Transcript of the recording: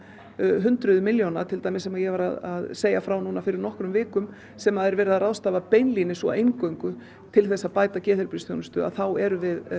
hundruðir milljóna sem ég var að segja frá fyrir nokkrum vikum sem er verið að ráðstafa beinlínis og eingöngu til að bæta geðheilbrigðisþjónustu þá erum við